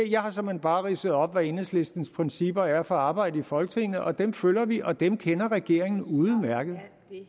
jeg har såmænd bare ridset op hvad enhedslistens principper er for arbejdet i folketinget og dem følger vi og dem kender regeringen udmærket